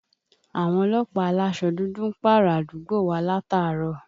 Àwọn ọlọ́pàá alásọ dúdú ń pààrà àdúgbò wa látàárọ̀